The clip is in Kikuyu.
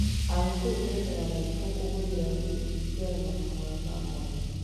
Agĩkũyũ mekaga mathiko kũhũthĩra Gĩkristiano na mahoya ma mwanya.